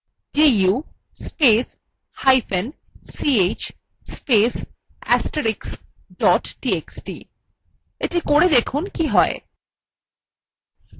du spacehyphen ch space * astrix dot txt দেখা যাক কী হয়